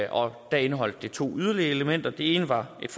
og da indeholdt det yderligere to elementer det ene var et